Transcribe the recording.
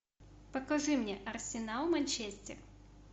покажи мне арсенал манчестер